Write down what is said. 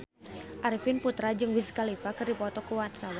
Arifin Putra jeung Wiz Khalifa keur dipoto ku wartawan